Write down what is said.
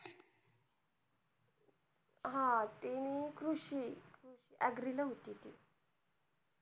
हा ती कृषी agree नव्हती ती,